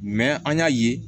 an y'a ye